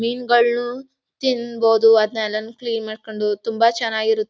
ಮೀನಗಳ್ನು ತಿನ್ಬಹುದು ಅದ್ನೇಲ್ಲನ್ ಕ್ಲೀನ್ ಮಾಡ್ಕೊಂಡು ತುಂಬಾ ಚೆನ್ನಾಗ್ ಇರುತ್--